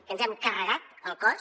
que ens hem carregat el cos